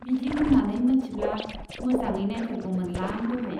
बिदि होन्नानै मोनथिब्ला मोजाङै नाइथारगौमोनलां दहाय।